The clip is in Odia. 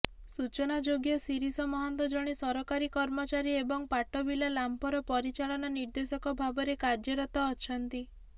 ସୂଚନାଯୋଗ୍ୟ ଶିରିଷ ମହାନ୍ତ ଜଣେ ସରକାରୀ କର୍ମଚାରୀ ଏବଂ ପାଟବିଲା ଲାମ୍ପର ପରିଚାଳନା ନିର୍ଦେଶକ ଭାବରେ କାର୍ଯ୍ୟରତ ଅଛନ୍ତି